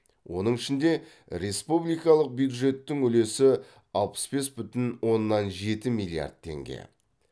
оның ішінде республикалық бюджеттің үлесі алпыс бес бүтін оннан жеті миллиард теңге